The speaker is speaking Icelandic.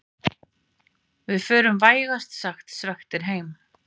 Við förum vægast sagt svekktir heim